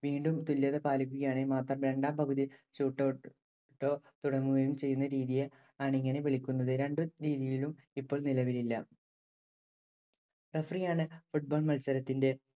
വീണ്ടും തുല്യത പാലിക്കുകയാണെങ്കിൽ മാത്രം രണ്ടാം പകുതിയോ shoot out ഓ തുടങ്ങുകയും ചെയ്യുന്ന രീതിയെ ആണ് ഇങ്ങനെ വിളിക്കുന്നത്. രണ്ടു രീതികളും ഇപ്പോൾ നിലവിലില്ല. Referee യാണ്‌ football മത്സരത്തിന്‍റെ